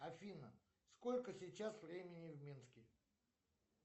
афина сколько сейчас времени в минске